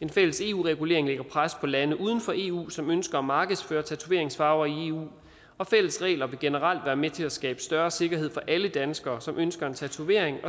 en fælles eu regulering lægger pres på lande uden for eu som ønsker at markedsføre tatoveringsfarver i eu og fælles regler vil generelt være med til at skabe større sikkerhed for alle danskere som ønsker en tatovering og